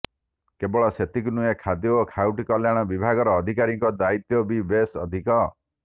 କେବଳ ସେତିକି ନୁହେଁ ଖାଦ୍ୟ ଓ ଖାଉଟି କଲ୍ୟାଣ ବିବାଗର ଅଧିକାରୀଙ୍କ ଦାୟିତ୍ବ ବି ବେଶ ଅଧିକ